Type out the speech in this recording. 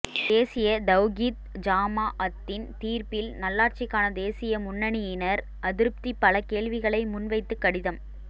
தேசிய தவ்கீத் ஜமாஅத்தின் தீர்ப்பில் நல்லாட்சிக்கான தேசிய முன்னணியினர் அதிருப்தி பலகேள்விகளை முன் வைத்து கடிதம்